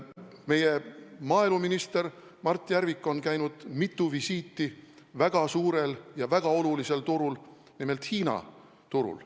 Meie maaeluminister Mart Järvik on teinud mitu visiiti, et arendada suhteid väga suurel ja väga olulisel turul, nimelt Hiina turul.